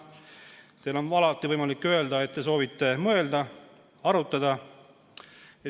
Teil on alati võimalik öelda, et te soovite mõelda, arutada.